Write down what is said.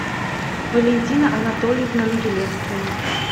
валентина анатольевна могилевская